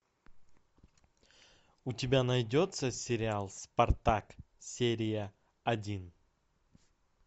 у тебя найдется сериал спартак серия один